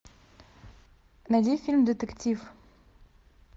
найди фильм детектив